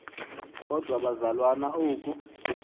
kodwa bazalwana oku